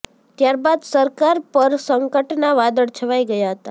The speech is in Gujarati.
ત્યારબાદ સરકાર પર સંકટના વાદળ છવાઈ ગયા હતા